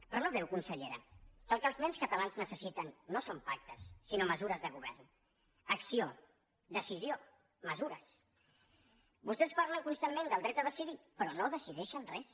però no veu consellera que el que els nens catalans necessiten no són pactes sinó mesures de govern acció decisió mesures vostès parlen constantment del dret a decidir però no decideixen res